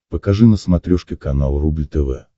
покажи на смотрешке канал рубль тв